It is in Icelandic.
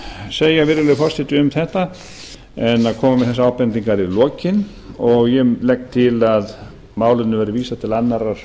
segja virðulegi forseti um þetta en að koma með þessar ábendingar í lokin ég legg til að málinu verði vísað til annarrar